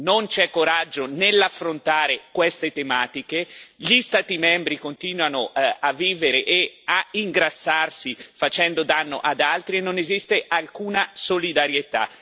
Non c'è coraggio nell'affrontare queste tematiche, gli Stati membri continuano a vivere e a ingrassarsi facendo danno ad altri e non esiste alcuna solidarietà.